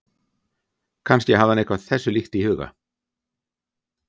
Kannski hafði hann eitthvað þessu líkt í huga.